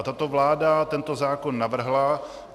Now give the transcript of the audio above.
A tato vláda tento zákon navrhla.